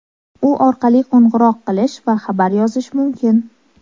U orqali qo‘ng‘iroq qilish va xabar yozish mumkin.